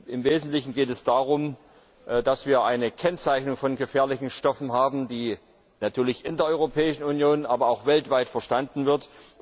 Im Wesentlichen geht es darum, dass wir eine Kennzeichnung von gefährlichen Stoffen haben, die natürlich in der Europäischen Union, aber auch weltweit verstanden wird.